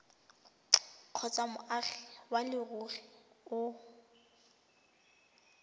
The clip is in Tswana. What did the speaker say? kgotsa moagi wa leruri o